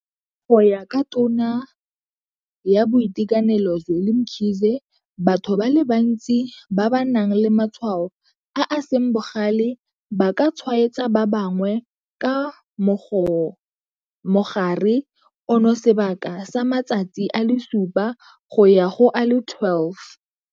Go ya ka Tona ya Boitekanelo Zweli Mkhize, batho ba le bantsi ba ba nang le matshwao a a seng bogale ba ka tshwaetsa ba bangwe ka mogare ono sebaka sa matsatsi a le supa go ya go a le 12.